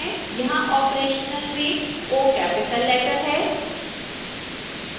यहां operational में o capital letter है